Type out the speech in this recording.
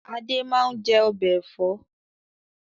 Adé máa ń jẹ ọbẹ̀ Ẹ̀fọ́